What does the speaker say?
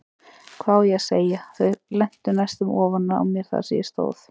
Hvað á ég að segja, þau lentu næstum ofan á mér þar sem ég stóð.